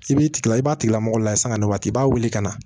I b'i tila i b'a tigi lamɔgɔ layɛ sanga na waati i b'a wuli ka na